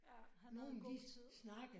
Ja. Han havde god tid